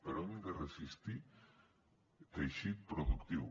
però hem de resistir teixit productiu